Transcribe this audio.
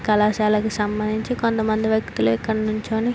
కళాశాలకి సంబంధించి కొంతమంది వ్యక్తులు ఇక్కడ నించొని --